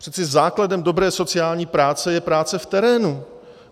Přeci základem dobré sociální práce je práce v terénu.